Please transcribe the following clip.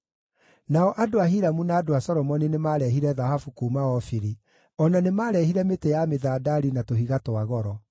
(Nao andũ a Hiramu na andũ a Solomoni nĩmarehire thahabu kuuma Ofiri; o na nĩmarehire mĩtĩ ya mĩthandari na tũhiga twa goro.